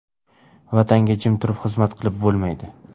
Vatanga jim turib xizmat qilib bo‘lmaydi.